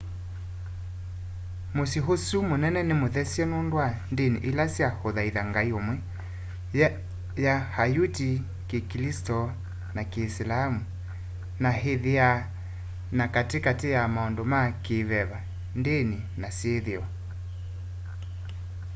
musyi usu munene ni muthesye nundu wa ndni ila sya uthaitha ngai umwe ya ayuti kikilisito na kiisilamu na ithiaa ta kati kati ya maundu ma ki veva ndini na syithio